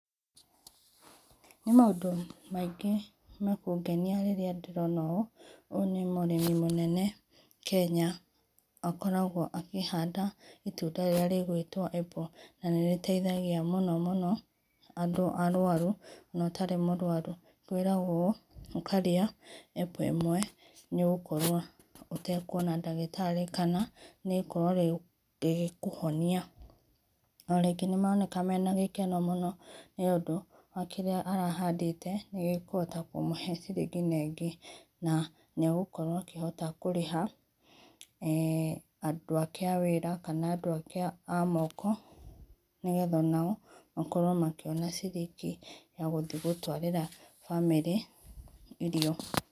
Nĩ maũndũ maĩngĩ ma kũgenĩa rĩrĩa ndĩrona ũũ ũyũ nĩ mũrĩmi mũnene Kenya akoragwo akĩhanda itũnda rĩrĩa rĩtagwo apple, na rĩteithagĩa mũno mũno andũ arũarũ na ũtarĩ mũrũarũ kwĩragwo ũkarĩa apple ĩmwe nĩ ũgũkorwo ũtakũona ndagĩtarĩ kana nĩ ũgũkorwo rĩũ ĩgĩkũhonĩa. O rĩngĩ nĩ maraonekana mena gĩkeno mũno nĩ ũndũ wa kĩrĩa arahandĩte nĩgĩkũhota kũmũhe cirĩngi ĩngĩ na ĩngĩ na nĩ agũkorwo akĩhota kũrĩha[eeh] andũ ake awĩra kana andũ ake a amoko nĩ getha onao makorwo makĩona cirĩngĩ ya gũthĩe gũtwarĩra bamĩrĩ irio.